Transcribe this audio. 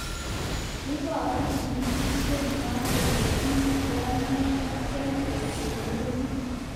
Iboru kachigilisyet nywa kole tinye kwonyiik rirge kosir murenik